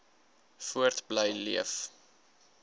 voort bly leef